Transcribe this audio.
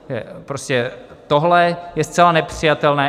Prostě tohle je zcela nepřijatelné.